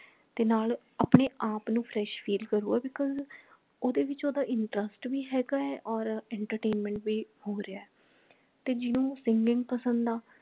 ਤੇ ਨਾਲ ਆਪਣੇ ਆਪ ਨੂੰ fresh feel ਕਰੂਗਾ because ਓਹਦੇ ਵਿੱਚ ਓਹਦਾ interest ਭੀ ਹੇਗਾ ਹੈ ਔਰ entertainment ਭੀ ਹੋ ਰਿਹਾ ਹੈ ਤੇ ਜਿਹਨੂੰ singing ਪਸੰਦ ਹਾ